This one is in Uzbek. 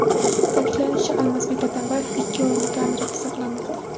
Ta’kidlanishicha, Almazbek Atambayev ikki o‘rinli kamerada saqlanmoqda.